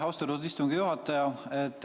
Austatud istungi juhataja!